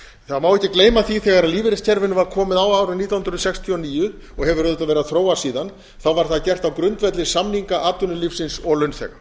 það má ekki gleyma því að þegar lífeyriskerfinu var komið á árið nítján hundruð sextíu og níu og hefur auðvitað verið að þróast síðan var það gert á grundvelli samninga atvinnulífsins og launþega